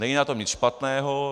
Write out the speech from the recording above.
Není na tom nic špatného.